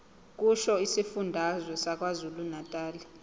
kusho isifundazwe sakwazulunatali